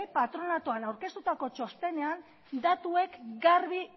patronatuan aurkeztutako txostenean datuek garbi